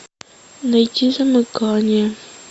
найти замыкание